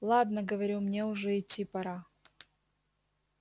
ладно говорю мне уже идти пора